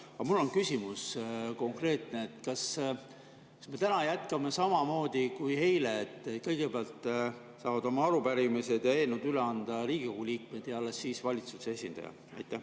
Aga mul on konkreetne küsimus: kas me täna jätkame samamoodi kui eile, et kõigepealt saavad oma arupärimised ja eelnõud üle anda Riigikogu liikmed ja alles siis teeb seda valitsuse esindaja?